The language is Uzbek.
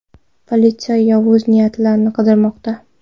Politsiya yovuz niyatlini qidirmoqda.